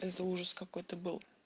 это ужас какой-то был